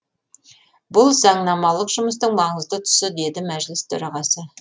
бұл заңнамалық жұмыстың маңызды тұсы деді мәжіліс төрағасы